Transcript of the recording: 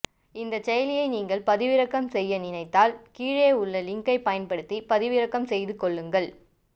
இந்த செயலியை நீங்கள் பதிவிறக்கம் செய்ய நினைத்தால் கீழே உள்ள லிங்கை பயன்படுத்தி பதிவிறக்கம் செய்து கொள்ளுங்கள்